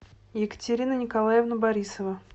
екатерина николаевна борисова